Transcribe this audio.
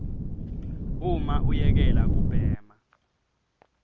uma uyekela kubhema